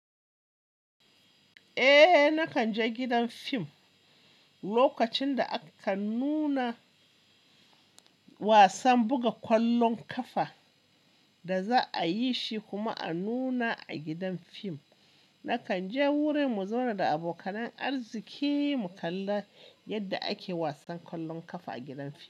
Eh nakan je gidan fim lokacin da aka nuna wasan buga ƙwallon ƙafa da za a yi shi kuma a nuna a gidan fim. Nakan je wurin mu zauna da abokanan arziki mu kalla yadda ake wasan ƙwallon ƙafa a gidan fim.